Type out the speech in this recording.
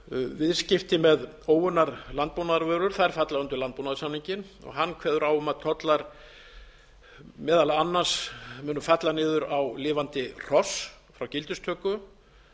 viðskipti með óunnar landbúnaðarvörur falla undir landbúnaðarsamninginn hann kveður á um að tollar meðal annars munu falla niður á lifandi hross frá gildistöku